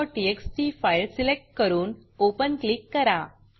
myrecordटीएक्सटी file select करून Openओपन click करा